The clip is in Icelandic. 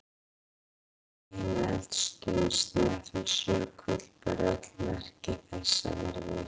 Megineldstöðin Snæfellsjökull ber öll merki þess að vera virk.